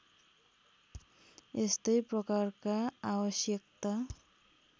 यस्तै प्रकारका आवश्यकता